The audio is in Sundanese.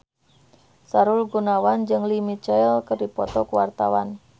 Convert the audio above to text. Sahrul Gunawan jeung Lea Michele keur dipoto ku wartawan